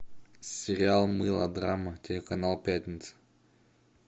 сериал мылодрама телеканал пятница